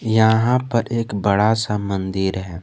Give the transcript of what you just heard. यहां पर एक बड़ा सा मंदिर है।